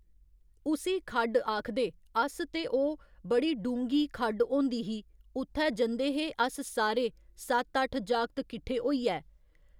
उसी खड्ड आखदे अस ते ओह् बड़ी डूंह्‌गी खड्ड होंदी ही उत्थै जंदे हे अस सारे सत्त अट्ठ जगत किट्ठे होइयै